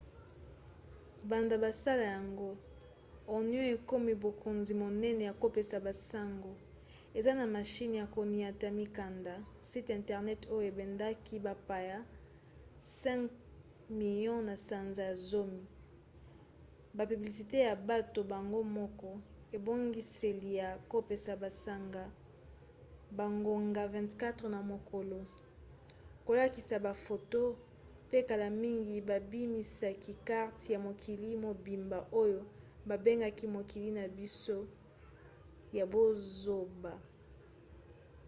banda basala yango onion ekomi bokonzi monene ya kopesa basango eza na mashine ya koniata mikanda site internet oyo ebendaki bapaya 5 000 000 na sanza ya zomi bapiblisite ya bato bango moko ebongiseli ya kopesa basango bangonga 24 na mokolo kolakisa bafoto pe kala mingi babimisaki karte ya mokili mobimba oyo babengi mokili na biso ya bozoba